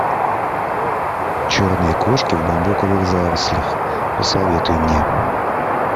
черные кошки в бамбуковых зарослях посоветуй мне